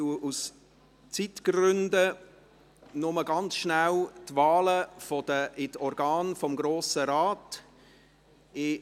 Aus Zeitgründen gebe ich nur ganz schnell die Wahlen in die Organe des Grossen Rats bekannt.